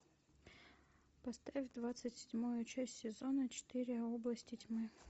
поставь двадцать седьмую часть сезона четыре области тьмы